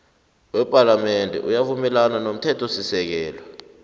wepalamende uyavumelana nomthethosisekelo